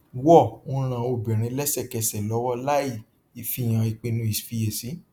war ń ràn obìnrin lẹsẹkẹsẹ lọwọ láì fìhàn ìpinnu ìfiyèsí